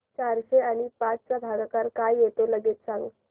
चारशे आणि पाच चा भागाकार काय येतो लगेच सांग